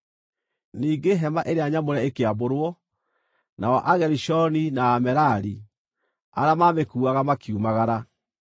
Ningĩ Hema-ĩrĩa-Nyamũre ĩkĩambũrwo, nao Agerishoni na Amerari, arĩa maamĩkuuaga, makiumagara.